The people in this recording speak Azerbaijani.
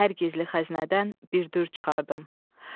Hər gizli xəzinədən bir dürr çıxardım.